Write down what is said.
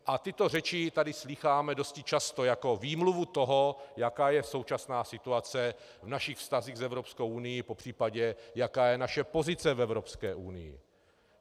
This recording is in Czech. A tyto řeči tady slýcháme dosti často jako výmluvu toho, jaká je současná situace v našich vztazích s Evropskou unií, popřípadě jaká je naše pozice v Evropské unii.